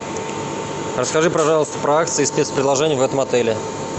расскажи пожалуйста про акции и спецпредложения в этом отеле